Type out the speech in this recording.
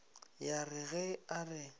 ya re ge a re